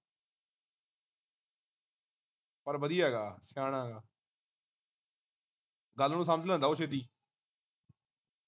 ਪਰ ਵਧੀਆ ਹੈਗਾ ਸਿਆਣਾ ਹੈਗਾ ਗੱਲ ਨੂੰ ਸਮਝ ਲੈਂਦਾ ਉਹ ਛੇਤੀ